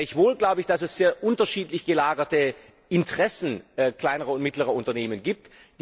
Gleichwohl glaube ich, dass es sehr unterschiedlich gelagerte Interessen kleiner und mittlerer Unternehmen gibt.